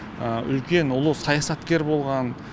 үлкен ұлы саясаткер болған